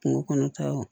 Kungo kɔnɔtaw